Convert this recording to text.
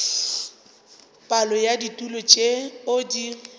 palo ya ditulo tšeo di